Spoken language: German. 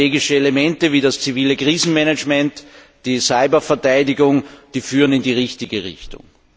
Neue strategische Elemente wie das zivile Krisenmanagement und die Cyberverteidigung führen in die richtige Richtung.